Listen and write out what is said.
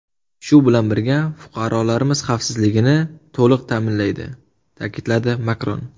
Shu bilan birga, fuqarolarimiz xavfsizligini to‘liq ta’minlaydi”, ta’kidladi Makron.